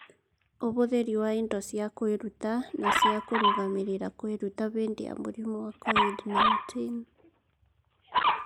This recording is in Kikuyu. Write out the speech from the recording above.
Ũhũthĩri wa indo cia kwĩruta na cia kũrũgamĩrĩra kwĩruta hĩndĩ ya mũrimũ wa COVID-19